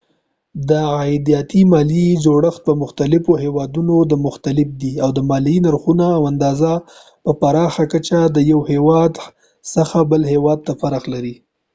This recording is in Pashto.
د عایداتي مالیې جوړښت په مختلفو هیوادونو کې مختلف دی او د مالیې نرخونه او اندازه په پراخه کچه د یو هیواد څخه بل هیواد ته فرق لري